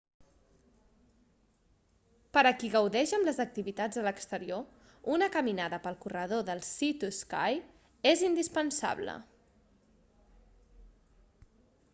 per a qui gaudeix amb les activitats a l'exterior una caminada pel corredor del sea to sky és indispensable